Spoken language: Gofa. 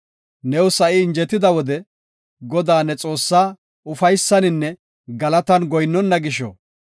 New sa7i injetida wode Godaa, ne Xoossaa ufaysaninne galatan goyinnona gisho,